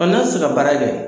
n'a tɛ se ka baara kɛ.